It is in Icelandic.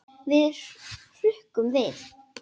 Við hrukkum við.